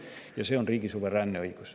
Ja see on riigi suveräänne õigus.